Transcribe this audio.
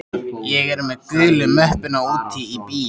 Ég er með gulu möppuna úti í bíl.